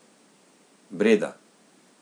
Breda.